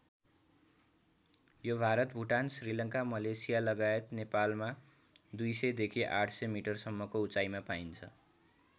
यो भारत भुटान श्रीलङ्का मलेसिया लगायत नेपालमा २०० देखि ८०० मिटरसम्मको उचाइमा पाइन्छ।